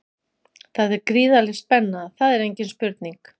Það er gríðarleg spenna, það er engin spurning.